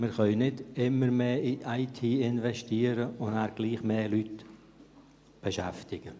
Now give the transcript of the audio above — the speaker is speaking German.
Wir können nicht immer mehr in die IT investieren und gleichzeitig mehr Leute beschäftigen.